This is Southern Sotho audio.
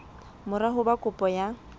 mora ho ba kopo ya